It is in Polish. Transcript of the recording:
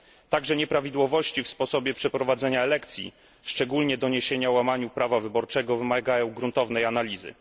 Także nieprawidłowości w sposobie przeprowadzenia elekcji, szczególnie doniesienia o łamaniu prawa wyborczego, wymagają gruntownej analizy.